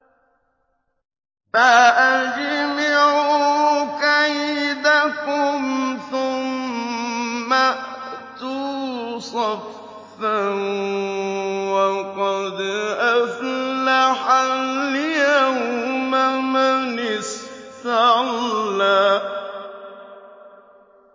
فَأَجْمِعُوا كَيْدَكُمْ ثُمَّ ائْتُوا صَفًّا ۚ وَقَدْ أَفْلَحَ الْيَوْمَ مَنِ اسْتَعْلَىٰ